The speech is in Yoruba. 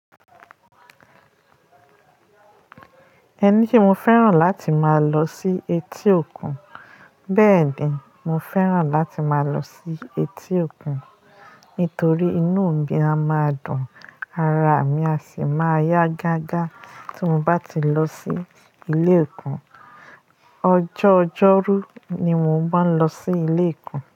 Ẹni se mo fẹ́ràn láti máa lọ sí etí òkun, bẹ́ẹ̀ ni, mo fẹ́ràn láti máa lọ sí etí òkun. Nítorí inú mi a máa dùn, ara mi a sì máa yá gágá tí mo bá ti lọ sí ilé òkun. Ọjọ́ ọjọ́rú ni mo ń má lọ sí ilé òkun.